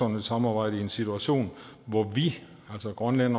et samarbejde i en situation hvor vi altså grønland